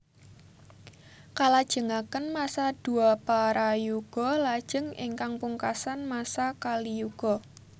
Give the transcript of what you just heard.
Kalajengaken masa Dwaparayuga lajeng ingkang pungkasan masa Kaliyuga